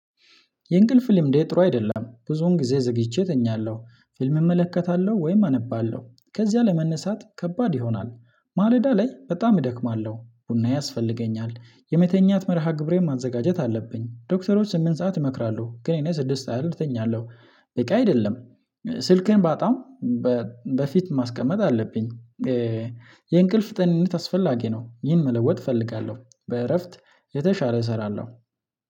የእንቅልፍ ልምዴ ጥሩ አይደለም። ብዙውን ጊዜ ዘግቼ ተኛለሁ። ፊልም እመለከታለሁ ወይም አነባለሁ። ከዚያ ለመነሳት ከባድ ይሆናል። ማለዳ ላይ በጣም እደክማለሁ። ቡና ያስፈልገኛል። የመተኛት መርሃ ግብሬን ማዘጋጀት አለብኝ። ዶክተሮች ስምንት ሰዓት ይመክራሉ፤ ግን የኔ ስድስት ያህል እተኛለሁ በቂ አይደለም። ስልኬን በጣም በፊት ማስቀመጥ አለብኝ። የእንቅልፍ ጤንነት አስፈላጊ ነው። ይህን መለወጥ እፈልጋለሁ። በእረፍት የተሻለ እሰራለሁ።